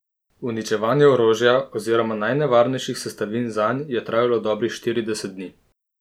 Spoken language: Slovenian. Uničevanje orožja oziroma najnevarnejših sestavin zanj je trajalo dobrih štirideset dni.